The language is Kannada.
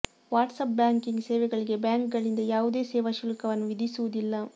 ವಾಟ್ಸಾಪ್ ಬ್ಯಾಂಕಿಂಗ್ ಸೇವೆಗಳಿಗೆ ಬ್ಯಾಂಕ್ ಗಳಿಂದ ಯಾವುದೇ ಸೇವಾ ಶುಲ್ಕವನ್ನು ವಿಧಿಸುವುದಿಲ್ಲ